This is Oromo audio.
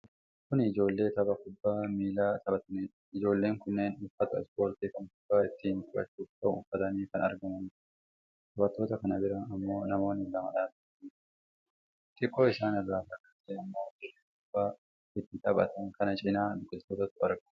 Kun ijoollee tapha kubbaa miilaa taphataniidha. Ijoolleen kunneen uffata ispoortii kan kubbaa ittiin taphachuuf ta'u uffatanii kan argamaniidha. Taphattoota kan bira ammoo namoonni lama dhaabatanii jiru. Xiqqoo isaan irraa fagaatee ammoo dirree kubbaa itti taphatan kana cinaa biqilootatu argama.